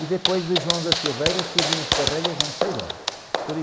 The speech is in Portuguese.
E depois de surgem os não sei de onde.